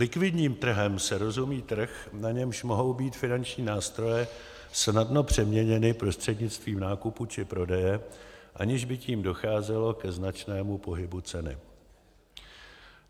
Likvidním trhem se rozumí trh, na němž mohou být finanční nástroje snadno přeměněny prostřednictvím nákupu či prodeje, aniž by tím docházelo ke značnému pohybu ceny.